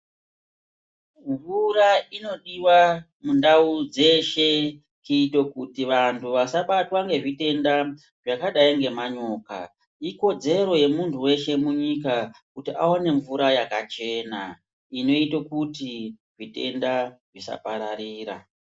Mvura inodiwa mundau dzeshe kuite kuti vantu vasa batwa ngezvi tenda zvakadai ngema nyoka ikodzero ye muntu weshe munyika kuti awane mvura yakachena inoita kuti zvitenda zvisa pararira.